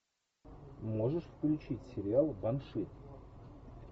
можешь включить сериал банши